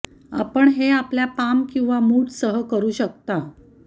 आपण हे आपल्या पाम किंवा आपल्या मूठ सह करू शकता